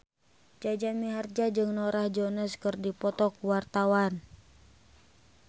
Jaja Mihardja jeung Norah Jones keur dipoto ku wartawan